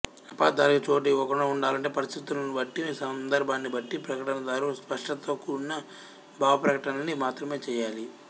అపార్థాలకి చోటు ఇవ్వకుండా ఉండాలంటే పరిస్థితులని బట్టి సందర్భాన్ని బట్టి ప్రకటనదారు స్పష్టతతో కూడిన భావప్రకటనలని మాత్రమే చేయాలి